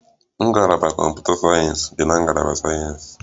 Ngalaba sayensị kọmputa dị na ngalaba sayensị